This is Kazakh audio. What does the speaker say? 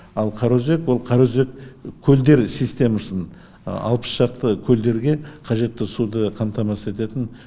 ал қараөзек ол қараөзек көлдер системасын алпыс шақты көлдерге қажетті суды қамтамасыз ететін